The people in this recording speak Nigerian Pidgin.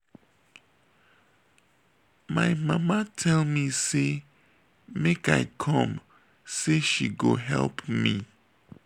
my mama tell me say make i come say she go help me